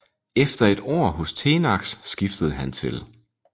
Efter et år hos Tenax skiftede han til